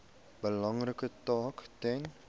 belangrike taak ten